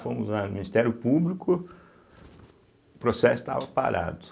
Fomos ao Ministério Público, o processo estava parado.